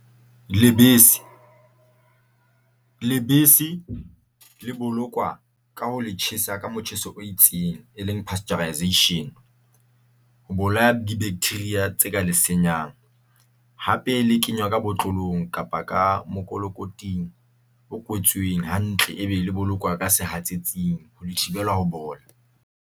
Lebese le bolokwa ka ho le tjhesa ka motjheso o itseng e leng pasteurisation. Ho bolaya di-bacteria tse ka lesenyang. Hape le kenywa ka botlolong kapa ka makolokoting a kwetsweng hantle e be le kenywa ka sehatsetsing ho thibela ho bola.